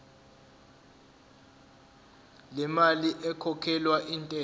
lemali ekhokhelwa intela